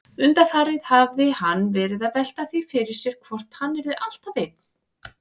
Undanfarið hafði hann verið að velta því fyrir sér hvort hann yrði alltaf einn.